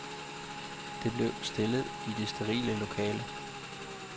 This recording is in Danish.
Der blev stille i det sterile lokale.